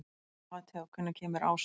Mateó, hvenær kemur ásinn?